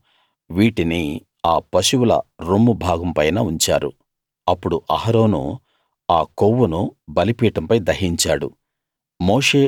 వాళ్ళు వీటిని ఆ పశువుల రొమ్ము భాగం పైన ఉంచారు అప్పుడు అహరోను ఆ కొవ్వును బలిపీఠంపై దహించాడు